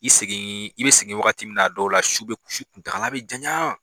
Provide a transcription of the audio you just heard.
I segin i be sigin wagati min na a dɔw la su be su kuntakala be janɲa.